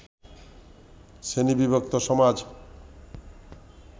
শ্রেণীবিভক্ত সমাজ